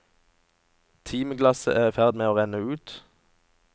Timeglasset er i ferd med å renne ut.